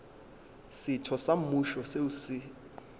setho sa mmušo seo se